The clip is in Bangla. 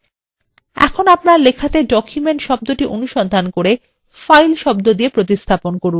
এখন আপনার লেখাটি document শব্দটি অনুসন্ধান করে file শব্দ দিয়ে প্রতিস্থাপন করুন